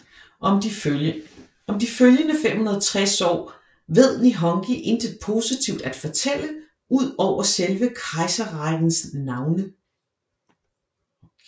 Om de følgende 560 år ved Nihongi intet positivt at fortælle ud over selve kejserrækkens navne